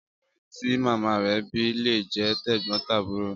Ọkùnrin tí màmá re bí lé jé tẹ̀gbón-tàbúro